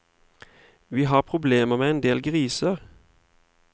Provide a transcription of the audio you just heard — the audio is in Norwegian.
Vi har problemer med en del griser.